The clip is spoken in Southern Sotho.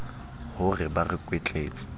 ho re ba re kwetletse